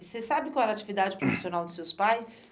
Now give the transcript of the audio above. Você sabe qual era a atividade profissional dos seus pais?